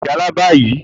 o gbódò lo ìjálá bayi!